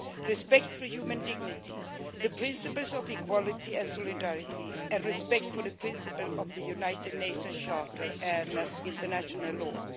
respect for human dignity, the principles of equality and solidarity, and respect for the principles of the United Nations Charter and international law'.